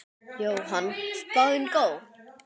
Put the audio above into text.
Jóhann: Spáin góð?